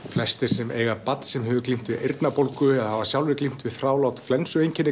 flestir sem eiga barn sem hefur glímt við eyrnabólgu eða hafa sjálfir glímt við þrálát